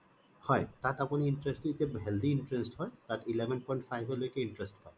হয় তাত আপুনি টো healthy interest হয় তাত eleven point five লৈকে interest হয়